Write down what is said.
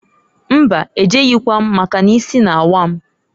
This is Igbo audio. Mbaǃ E jeghikwam, maka n'isi na-awa m.